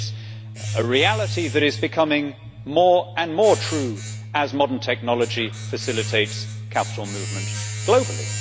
It is a reality that is becoming more and more true as modern technology facilitates capital movement globally.